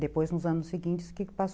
Depois, nos anos seguintes, passou